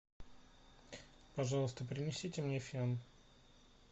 пожалуйста принесите мне фен